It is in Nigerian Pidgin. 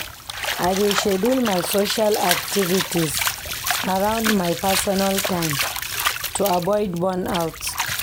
I dey schedule my social activities around my personal time to avoid burnout.